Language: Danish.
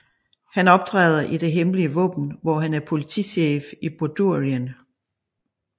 Han optræder i Det Hemmelige Våben hvor han er politichef i Bordurien